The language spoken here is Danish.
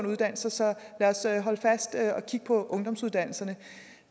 uddannelser så lad os holde fast i at kigge på ungdomsuddannelserne